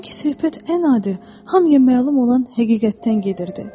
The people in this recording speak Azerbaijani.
Sanki söhbət ən adi, hamıya məlum olan həqiqətdən gedirdi.